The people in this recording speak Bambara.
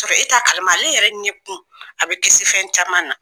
sɔrɔ e t'a kalama ale yɛrɛ ɲɛkun a bɛ kisi fɛn caman ma